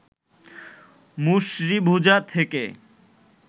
মুসরিভুজা থেকে